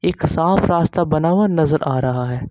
साफ रास्ता बना हुआ नजर आ रहा है।